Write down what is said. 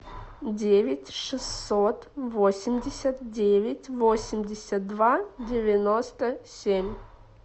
девять шестьсот восемьдесят девять восемьдесят два девяносто семь